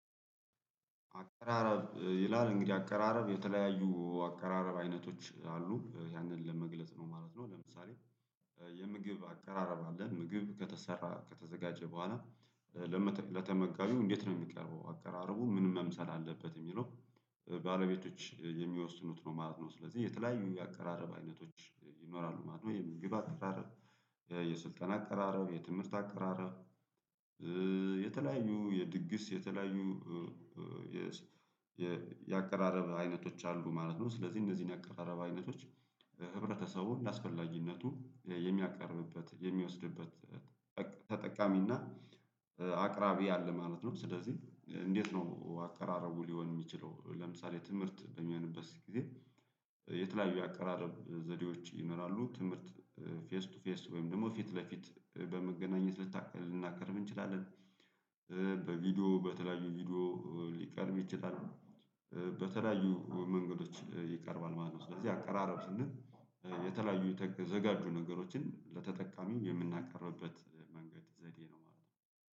አቀራረብ ይላል እንግዲህ አቀራረብ የተለያዩ አቀራረብ አይነቶች አሉ ያንን ለመግለጽ ነው ማለት ነው። ለምሳሌ የምግብ አቀራረብ አለን ምግብ ከተሰራ ከተዘጋጀ በኋላ ለተመጋቢው እንዴት ነው የሚቀርበው አቀራረቡ ምን መምሰል አለበት የሚለው ባለቤቶች የሚወስኑት ነው ማለት ነው። ስለዚህ የተለያዩ የአቀራረብ አይነቶች ይኖራሉ ማለት ነው። የምግብ አቀራረብ የስልጠና አቀራረብ የትምህርት አቀራረብ የተለያዩ የድግስ የተለያዩ የ የአቀራረብ አይነቶች አሉ ማለት ነው። ስለዚህ እነዚህን የአቀራረብ አይነቶች ህብረተሰቡን እንደ አስፈላጊነቱ የሚያቀርብበት የሚወስድበት ተጠቃሚና አቅራቢ አለ ማለት ነው። ስለዚህ እንዴት ነው አቀራረቡ ሊሆን የሚችለው ለምሳሌ ትምህርት በሚሆንበት ጊዜ የተለያዩ የአቀራረብ ዘዴዎች ይመራሉ ትምህርት ፌስ ቱ ፌስ ወይም ደግሞ ፊት ለፊት በመገናኘት ልናቀርብ እንችላለን። በቪዲዮ በተለያዩ ቪዲዮ ሊቀርብ ይችላል። በተለያዩ መንገዶች ይቀርባል ማለት ነው። ስለዚህ አቀራረብ ስንል የተለያዩ የተዘጋጁ ነገሮችን ለተጠቃሚው የምናቀርብበት መንገድ ዘዴ ነው ማለት ነው